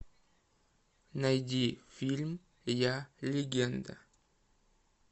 найди фильм я легенда